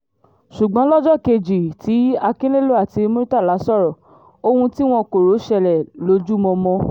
ṣùgbọ́n lọ́jọ́ kejì tí akinlelo àti murtala sọ̀rọ̀ ohun tí wọn kò rò ṣẹlẹ̀ lójúmọmọ